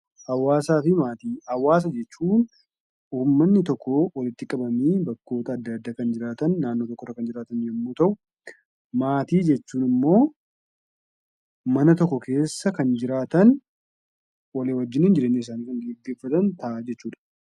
Hawwaasaa fi Maatii: Hawwaasa jechuun uummanni tokko walitti qabamanii bakka tokko kan jiraatan yommuu ta'u, maatii jechuun immoo mana tokko keessa kan jiraatan, walii wajjin jireenya isaanii kan gaggeeffatan jechuudha.